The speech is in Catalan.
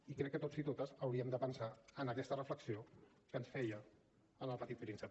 i crec que tots i totes hauríem de pensar en aquesta reflexió que ens feien en el petit príncep